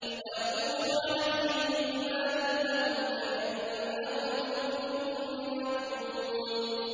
۞ وَيَطُوفُ عَلَيْهِمْ غِلْمَانٌ لَّهُمْ كَأَنَّهُمْ لُؤْلُؤٌ مَّكْنُونٌ